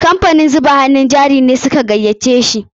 Kamfanin zuba hannun jari ne su ka gayyace shi.